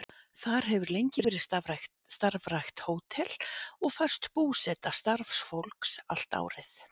Þar hefur lengi verið starfrækt hótel og föst búseta starfsfólks allt árið.